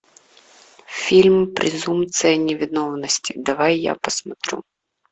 фильм презумпция невиновности давай я посмотрю